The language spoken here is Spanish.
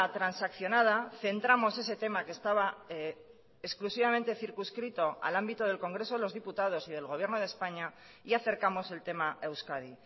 transaccionada centramos ese tema que estaba exclusivamente circunscrito al ámbito del congreso de los diputados y del gobierno de españa y acercamos el tema a euskadi